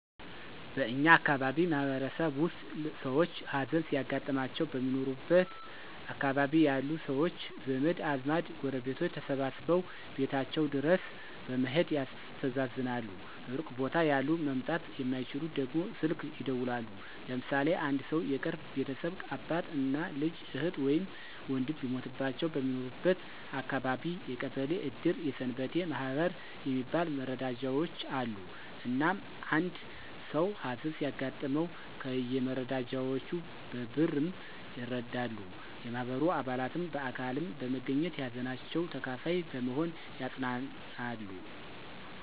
በእኛ አካባቢ ማህበረሰብ ውስጥ ሰውች ሀዘን ሲያጋጥማቸው በሚኖሩበት አካባቢ ያሉ ሰውች ዘመድ አዝማድ ጎረቤቶች ተሰባስበው ቤታቸው ድረስ በመሔድ ያስተዛዝናሉ ሩቅ ቦታ ያሉ መምጣት የማይችሉት ደግሞ ስልክ ይደውላሉ። ለምሳሌ አንድ ሰው የቅርብ ቤተሰብ አባት፣ እናት፣ ልጅ፣ እህት ወይም ወንድም ቢሞትባቸው በሚኖርበት አካባቢ የቀበሌ እድር የሰንበቴ ማህበር የሚባል መረዳጃውች አሉ። እናም አንድ ሰው ሀዘን ሲያጋጥመው ከየመረዳጃውቹ በ ብርም ይረዳሉ፣ የማህበሩ አባላትም በአካልም በመገኝት የሀዘናቸው ተካፋይ በመሆን ያፅናናሉ።